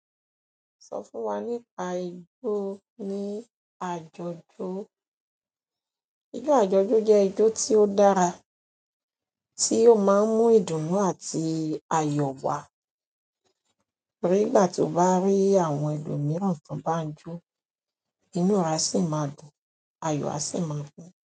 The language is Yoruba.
Sọ fún wa nípa ijó ní àjọ̀dún. Ijó àjọ̀dún jẹ́ ijó tí ó dára, tí ó máa ń mú ìdunú àti ayọ̀ wá. Nígbà tí o bá rí àwọn ẹlòmíràn tán bá ń jó, inú ẹ a sì máa dùn, ayọ̀ a sì máa kún.